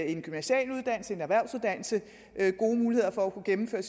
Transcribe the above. en gymnasial uddannelse eller en erhvervsuddannelse gode muligheder for at kunne gennemføre